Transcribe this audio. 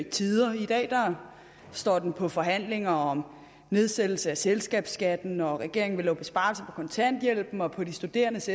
tider i dag står den på forhandlinger om nedsættelse af selskabsskatten og regeringen vil lave besparelser kontanthjælpen og på de studerendes